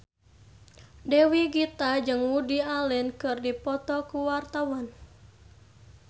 Dewi Gita jeung Woody Allen keur dipoto ku wartawan